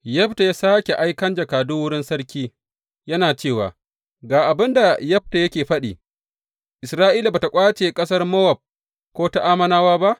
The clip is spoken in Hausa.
Yefta ya sāke aikan jakadu wurin sarki, yana cewa, Ga abin da Yefta yake faɗi, Isra’ila ba tă ƙwace ƙasar Mowab ko ta Ammonawa ba.